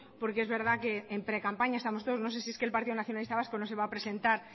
porque es verdad que en precampaña estamos todos no sé si es que el partido nacionalista vasco no se va a presentar